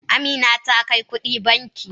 Amina ta kai kudin banki.